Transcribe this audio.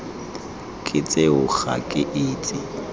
ke tseo ga ke itse